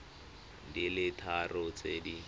di le tharo tse di